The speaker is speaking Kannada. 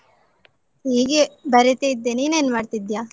ಹೀಗೆ ಬರಿತಿದ್ದೆ. ನೀನ್ ಏನ್ ಮಾಡ್ತಿದ್ದ್ಯಾ?